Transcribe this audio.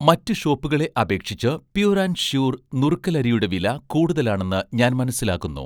മറ്റ് ഷോപ്പുകളെ അപേക്ഷിച്ച് 'പ്യുർ ആൻഡ് ഷ്യൂർ' നുറുക്കലരിയുടെ വില കൂടുതലാണെന്ന് ഞാൻ മനസ്സിലാക്കുന്നു